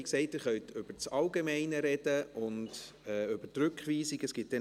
Wie gesagt: Sie können über das Allgemeine und über die Rückweisung sprechen.